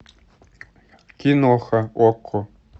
киноха окко